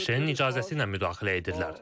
ABŞ-ın icazəsi ilə müdaxilə edirlər.